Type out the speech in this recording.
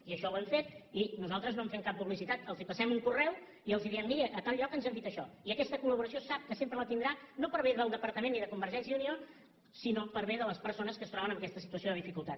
i això ho hem fet i nosaltres no en fem cap publicitat els passem un correu i els diem miri a tal lloc ens han dit això i aquesta col·laboració sap que sempre la tindrà no per bé del departament ni de convergència i unió sinó per bé de les persones que es troben en aquesta situació de dificultat